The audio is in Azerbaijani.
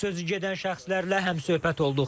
Sözü gedən şəxslərlə həmsöhbət olduq.